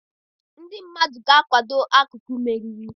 Ndị mmadụ ga-akwado akụkụ mmeri